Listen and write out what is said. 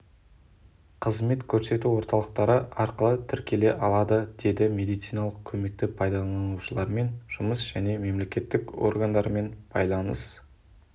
қызмет көрсету орталықтары арқылы тіркеле алады деді медициналық көмекті пайдаланушылармен жұмыс және мемлекеттік органдармен байланыс